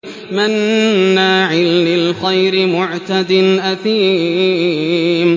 مَّنَّاعٍ لِّلْخَيْرِ مُعْتَدٍ أَثِيمٍ